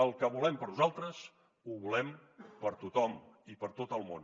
el que volem per a nosaltres ho volem per a tothom i per a tot el món